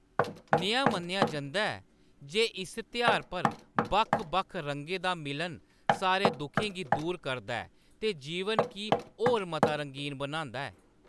नेहा मन्नेआ जंदा ऐ जे इस त्यहार पर बक्ख-बक्ख रंगें दा मिलन सारे दुखें गी दूर करदा ऐ ते जीवन गी होर मता रंगीन बनांदा ऐ।